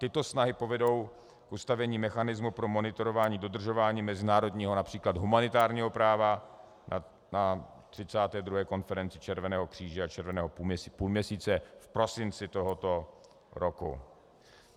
Tyto snahy povedou k ustavení mechanismu pro monitorování dodržování mezinárodního, například humanitárního práva na 32. konferenci Červeného kříže a Červeného půlměsíce v prosinci tohoto roku.